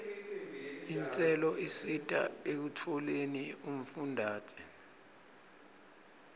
intselo isita ekutfoleni umfundzate